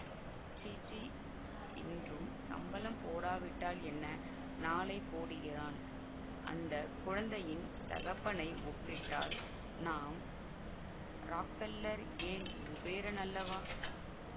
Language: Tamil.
சீச்சீ இன்றும் சம்பளம் போடாவிட்டால் என்ன நாளை போடுகிறான் அந்த குழந்தையின் தகப்பனை ஒப்பிட்டால் நாம் ராக்பெல்லர் ஏன் குபேரனல்லவா